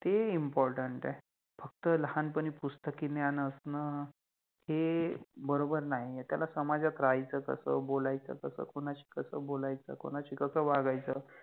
ते Important आहे, फक्त लहानपणी पुस्तकि ज्ञान असण हे बरोबर नाइ आहे. त्याला समाजात राहायच कस, बोलायच कस, कुनाशि कस बोलायच, कुनाशि कस वागायच